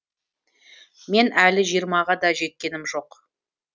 мен әлі жиырмаға да жеткенім жоқ